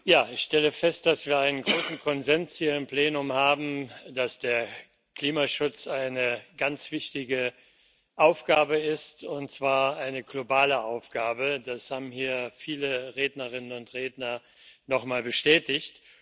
Frau Präsidentin! Ich stelle fest, dass wir einen großen Konsens hier im Plenum haben, dass der Klimaschutz eine ganz wichtige Aufgabe ist, und zwar eine globale Aufgabe das haben hier viele Rednerinnen und Redner noch mal bestätigt.